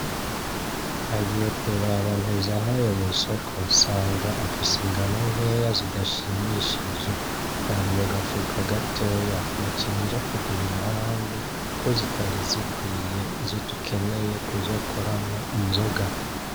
Nagiye kuraba Ntezahayo mw'isoko nsanga afise ingano nkeya zidashimishije. Zari my gafuko gatoya. Naciye nja kugurira ahandi kuko zitari zikwiye, izo dukeneye kuzokoramwo inzoga.